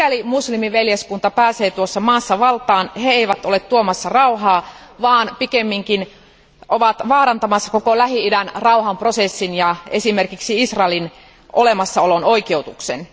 Mikäli muslimiveljeskunta pääsee tuossa maassa valtaan, he eivät ole tuomassa rauhaa, vaan pikemminkin vaarantamassa koko Lähi idän rauhanprosessin ja esimerkiksi Israelin olemassaolon oikeutuksen.